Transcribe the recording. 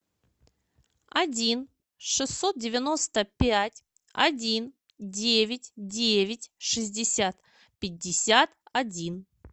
один шестьсот девяносто пять один девять девять шестьдесят пятьдесят один